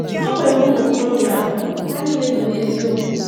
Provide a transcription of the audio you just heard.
Ha nwere ụmụ okorobịa anọ, ha niile nọ n’eziokwu.